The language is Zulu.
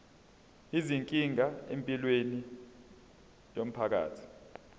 izinkinga empilweni yomphakathi